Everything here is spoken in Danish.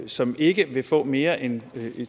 som ikke vil få mere end